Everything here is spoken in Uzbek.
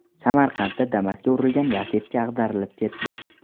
Samarqandda Damas’ga urilgan Lacetti ag‘darilib ketdi.